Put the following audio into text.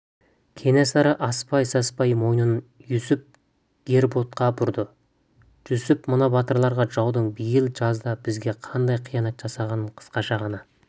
кенесары аспай-саспай мойнын иосиф гербуртқа бұрды жүсіп мына батырларға жаудың биыл жазда бізге қандай қиянат жасағанын қысқаша ғана